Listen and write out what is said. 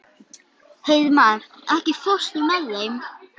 Hreiðmar, ekki fórstu með þeim?